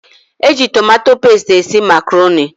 Eji tomato pestie esị macroni.